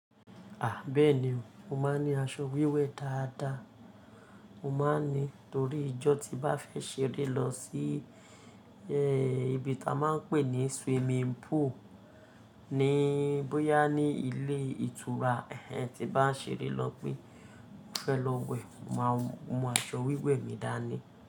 Bẹ́ẹ̀ni o, mo máa ń ní aṣọ wíwẹ̀ dáadáa. Mo máa ń ní torí ijọ́ tí bá fẹ́ ṣeré lọ sí, ibi tí a máa ń pè ní swimming pool ní bóyá ní ilé ìtura ẹh ẹn tí bá ń ṣeré lọ pé mo fẹ́ lọ wẹ̀, mo máa mú aṣọ wíwẹ̀ mi dání.